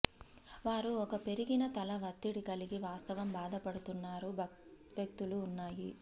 వారు ఒక పెరిగిన తల వత్తిడి కలిగి వాస్తవం బాధపడుతున్నారు వ్యక్తులు ఉన్నాయి